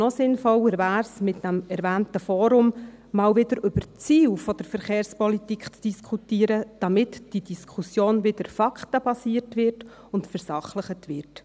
Noch sinnvoller wäre es aber, mit dem erwähnten Forum wieder einmal über die Ziele der Verkehrspolitik zu diskutieren, damit die Diskussion wieder faktenbasiert wird und versachlicht wird.